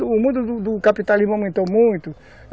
O mundo do capitalismo aumentou muito.